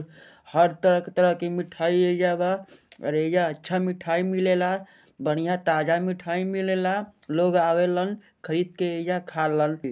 हर तरह के तरह के मिठाई यहिजा बा और यहीजा अच्छा मिठाई मिलेला बढ़िया ताजा मिठाई मिलेला लोग आवेलन खरीद के यहिजा खालन के।